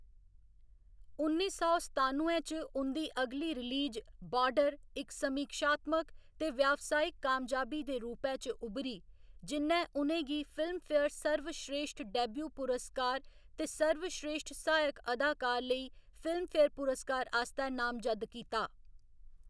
उन्नी सौ सतानुए च उं'दी अगली रिलीज बार्डर इक समीक्षात्मक ते व्यावसायिक कामयाबी दे रूपै च उब्भरी, जि'न्नै उ'नें गी फिल्मफेयर सर्वश्रेश्ठ डेब्यू पुरस्कार ते सर्वश्रेश्ठ सहायक अदाकार लेई फिल्मफेयर पुरस्कार आस्तै नामजद्द कीता।